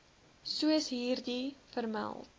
soos hierbo vermeld